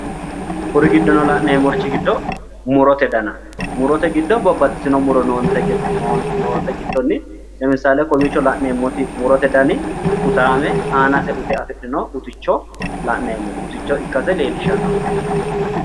Kuri giddono la'neemmorichi giddo murote dana murote giddo babbaxxitino muro noote giddonni lemisaale kowiicho la'neemmoti murote dani utaame aanase ute afidhino uticho la'neemmo uticho ikkase leellishshannonke.